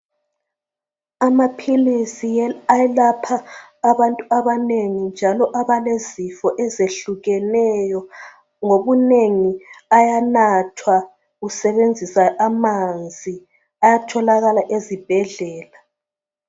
Amaphilisi ayelapha abantu abanengi njalo abalezifo ezehlukeneyo ngobinengi ayanathwa usebenzisa amanzi ayatholakala ezibhedlela.